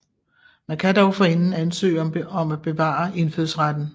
Man kan dog forinden ansøge om at bevare indfødsretten